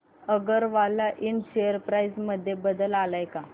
अगरवाल इंड share price मध्ये बदल आलाय का